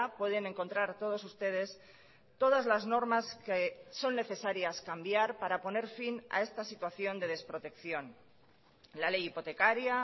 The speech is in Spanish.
pueden encontrar todos ustedes todas las normas que son necesarias cambiar para poner fin a esta situación de desprotección la ley hipotecaria